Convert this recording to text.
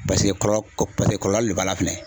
Paseke kɔlɔ paseke kɔlɔlu le b'a la fɛnɛ.